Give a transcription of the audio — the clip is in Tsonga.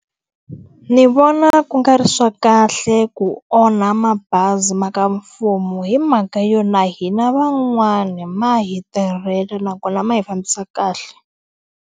Ni vona ku nga ri swa kahle ku onha mabazi ma ka mfumo hi mhaka yo, na hina van'wani ma hi tirhela nakona ma hi fambisa kahle.